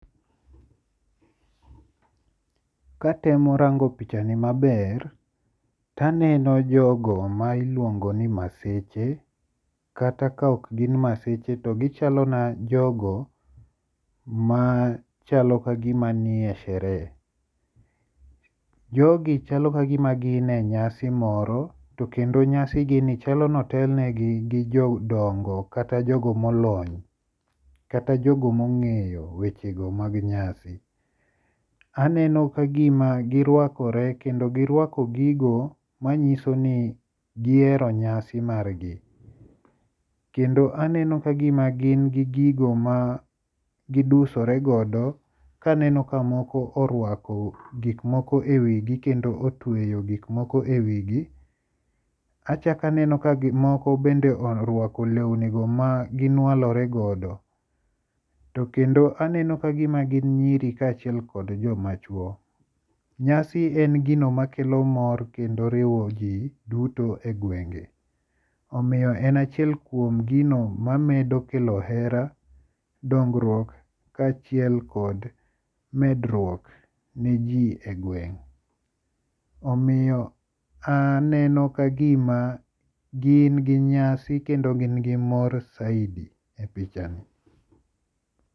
Katemo rango pichani maber to aneno jogo ma iluongo ni Maseche. Kata ka ok gin Maseche to gichalo na jogo ma chalo kagima ni e sherehe. Jogi chalo kagima gin e nyasi moro to kendo nyasi gi ni chalo notelnegi gi jodongo kata jogo molony kata jogo mong'eyo weche go mag nyasi. Aneno kagima girwakore kendo girwako gigo manyiso ni gihero nyasi margi. Kendo aneno kagima gin gi gigo ma gidusore godo kaneno ka moko orwako gik moko e wigi kendo otweyo gik moko e wigi. Achak aneno ka moko bende orwako lewni go ma ginwalore godo. To kendo aneno kagima gin nyiro ka achiel kod joma chuo. Nyasi en gino makelo mor kendo riwo ji duto e gwenge. Omiyo en achiel kuom gino mamedo kelo hera, dongruok kachiel kod medruok ne ji e gweng'. Omiyo aneno kagima gin gi nyasi kendo gin gi mor saidi e pichani.